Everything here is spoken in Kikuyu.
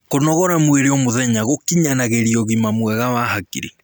kũnogora mwĩrĩ o mũthenya gukinyanagirĩa ũgima mwega wa hakiri